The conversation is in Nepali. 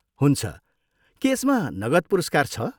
हुन्छ, के यसमा नगद पुरस्कार छ?